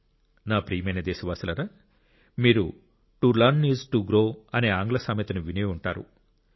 నా ప్రియమైన దేశవాసులారా మీరు to learn is to grow అనే ఆంగ్ల సామెతను విని ఉంటారు